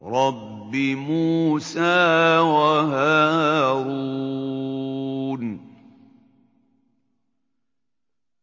رَبِّ مُوسَىٰ وَهَارُونَ